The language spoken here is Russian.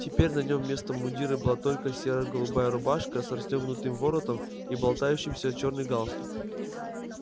и теперь на нем вместо мундира была только серо-голубая рубашка с расстёгнутым воротом и болтающийся чёрный галстук